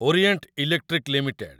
Orient Electric limited